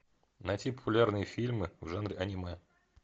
найти популярные фильмы в жанре аниме